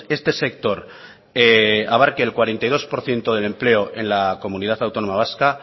este sector abarque el cuarenta y dos por ciento del empleo en la comunidad autónoma vasca